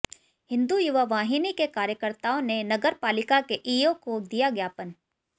हिन्दू युवा वाहिनी के कार्यकर्ताओं ने नगर पालिका के ईओ को दिया ज्ञापन